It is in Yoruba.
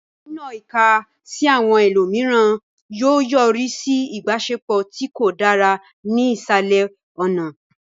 Nínọ ìka sí àwọn ẹlòmíràn yóò yọrí sí ìbáṣepọ̀ tí kò dára ní ìsàlẹ̀ ọ̀nà.